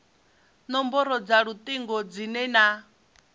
nomboro dza lutingo dzine na